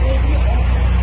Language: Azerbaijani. O tərəfə baxın.